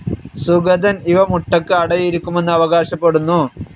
സുഗതൻ ഇവ മുട്ടയ്ക്ക് അടയിരിക്കുമെന്ന് അവകാശപ്പെടുന്നു.